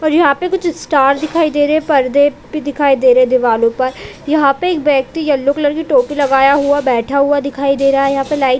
और यहाँ पे कुछ स्टार दिखाई दे रहें है परदे भी दिखाई दे रहे है दीवालों पर यहाँ पे एक व्यक्ति येलो कलर की टोपी लगाया हुआ बैठा हुआ दिखाई दे रहा है यहाँ पे लाइट --